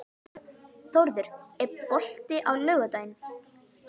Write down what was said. Þórður, er bolti á laugardaginn?